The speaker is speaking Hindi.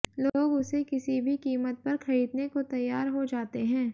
लोग उसे किसी भी कीमत पर खरीदने को तैयार हो जाते हैं